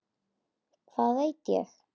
Hvað veit ég?